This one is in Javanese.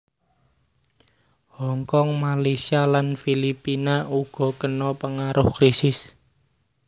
Hong Kong Malaysia lan Filipina uga kena pengaruh krisis